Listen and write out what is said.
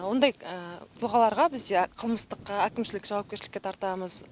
ондай тұлғаларға бізде қылмыстық әкімшілік жауапкершілікке тартамыз